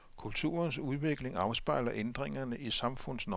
Kulturens udvikling afspejler ændringerne i samfundsnormerne.